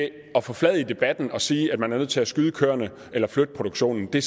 at forfladige debatten og sige at man er nødt til at skyde køerne eller flytte produktionen det